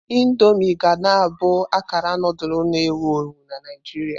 Indomii ga na abụ akara nudulu na-ewu ewu na Naijiria.